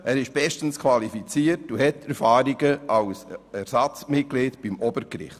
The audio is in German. Er ist bestens qualifiziert und hat Erfahrungen als Ersatzmitglied beim Obergericht.